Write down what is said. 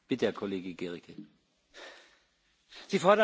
Sie fordern Lösungen für Syrien.